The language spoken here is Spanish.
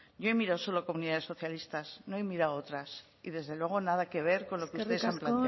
yo he mirado solo comunidades socialistas no he mirado otras y desde luego nada que ver con lo que ustedes han